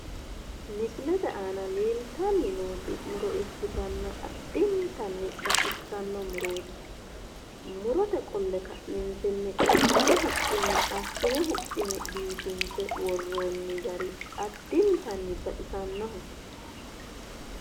MIsilete aana leeltanni nooti muro ikkitanna addinttanni baxissanno murooti murote qolle ka'neentinni qarkahu huxxinni assine huxxine biifinse worroonni gari addinttanni baxisannoho